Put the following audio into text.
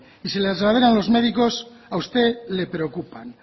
y si las lideran los médicos a usted le preocupan